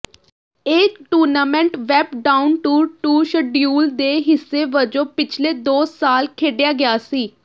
ਇਹ tournament web ਡਾਉਨਟੂਰ tour schedule ਦੇ ਹਿੱਸੇ ਵਜੋਂ ਪਿਛਲੇ ਦੋ ਸਾਲ ਖੇਡਿਆ ਗਿਆ ਸੀ